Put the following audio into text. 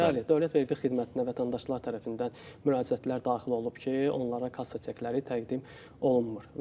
Bəli, Dövlət Vergi Xidmətinə vətəndaşlar tərəfindən müraciətlər daxil olub ki, onlara kassa çekləri təqdim olunmur.